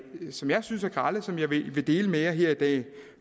som jeg synes er grelle og som jeg vil vil dele med jer her i dag